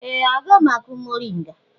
Ee! Aga m akụ mọrịnga.